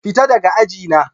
Fita daga aji na!